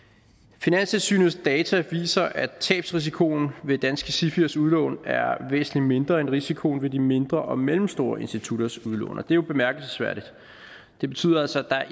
finanstilsynets data viser at tabsrisikoen ved danske sifiers udlån er væsentlig mindre end risikoen ved de mindre og mellemstore institutters udlån og det er jo bemærkelsesværdigt det betyder altså at der